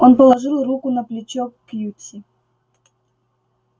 он положил руку на плечо кьюти